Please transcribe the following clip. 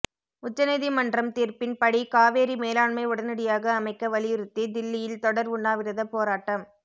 உச்ச நீதிமன்றம் தீர்ப்பின் படி காவேரி மேலாண்மை உடனடியாக அமைக்க வலியுறுத்தி தில்லியில் தொடர் உண்ணாவிரத போராட்டம்